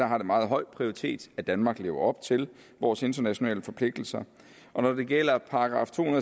har meget høj prioritet at danmark lever op til vores internationale forpligtelser og når det gælder § to